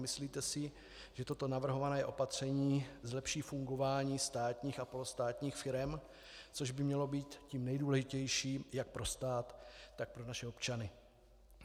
Myslíte si, že toto navrhované opatření zlepší fungování státních a polostátních firem, což by mělo být tím nejdůležitějším jak pro stát, tak pro naše občany?